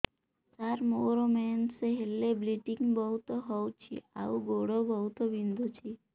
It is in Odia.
ସାର ମୋର ମେନ୍ସେସ ହେଲେ ବ୍ଲିଡ଼ିଙ୍ଗ ବହୁତ ହଉଚି ଆଉ ଗୋଡ ବହୁତ ବିନ୍ଧୁଚି